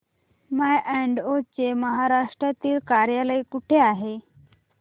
माय Advo चे महाराष्ट्रातील कार्यालय कुठे आहे